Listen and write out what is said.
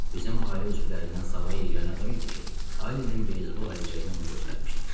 Bizim ailə üzvlərindən savayı yeganə adam idi ki, Alinin beyzbol əlcəyini ona göstərmişdim.